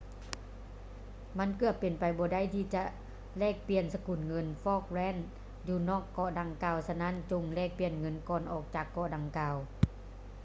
ມັນເກືອບເປັນໄປບໍ່ໄດ້ທີ່ຈະແລກປ່ຽນສະກຸນເງິນ ຟອກແລນສ໌ falklands ຢູ່ນອກເກາະດັ່ງກ່າວ ສະນັ້ນຈົ່ງແລກປ່ຽນເງິນກ່ອນອອກຈາກເກາະດັ່ງກ່າວ